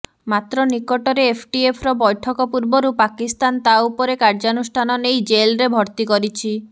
ମାତ୍ର ନିକଟରେ ଏଫଏଟିଏଫର ବୈଠକ ପୂର୍ବରୁ ପାକିସ୍ତାନ ତା ଉପରେ କାର୍ଯ୍ୟାନୁଷ୍ଠାନ ନେଇ ଜେଲ୍ରେ ଭର୍ତ୍ତି କରିଛି